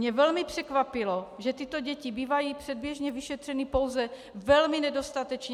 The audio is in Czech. Mne velmi překvapilo, že tyto děti bývají předběžně vyšetřeny pouze velmi nedostatečně.